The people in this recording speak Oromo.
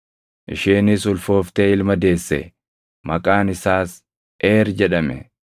isheenis ulfooftee ilma deesse; maqaan isaas Eer jedhame.